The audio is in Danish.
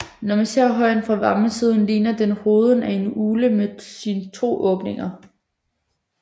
Når man ser højen fra Vammensiden ligner den hovedet af en ugle med sine to åbninger